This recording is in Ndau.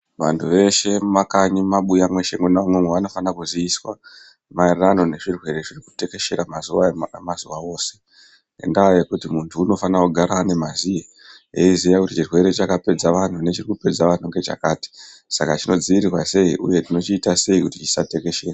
Vantu veshe mumakanyi mweshe mumabuya imwomwo vanofana kuziviswa maererano nezvirwere zviri kutekeshera mazuva ano mazuva ose. Ngendaa yekuti muntu unofana kugara ane mazuye eiziye chirwere chakapedza vantu nechirikupedza vantu ngechakati. Saka chinodzirirwa sei, uye tinochiita sei kuti chisatekeshere.